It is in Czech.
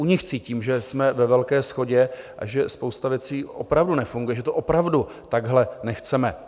U nich cítím, že jsme ve velké shodě a že spousta věcí opravdu nefunguje, že to opravdu takhle nechceme.